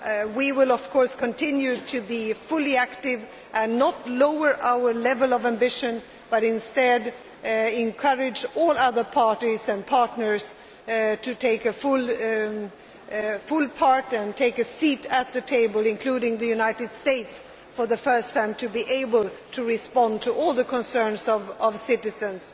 We will, of course, continue to be fully active and not lower our level of ambition, but instead encourage all other parties and partners to take a full part and take a seat at the table including the United States, for the first time so that we can respond to all the concerns of citizens.